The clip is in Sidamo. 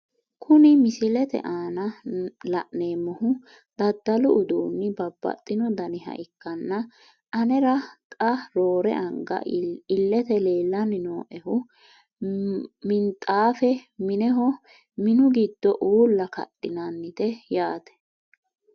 Kuni misilete aana la`nemohu dadalu uduuni babaxino daniha ikanna anera xa roore anga ilete leelani nooehu minxaafe mineho minu giddo uula kadhinnite yaaate.